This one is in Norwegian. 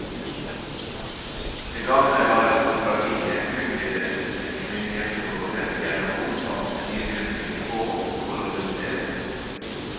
Det gamle aristokratiet utvidet sitt myndighetsområde gjennom omfattende nydyrking og kolonisering.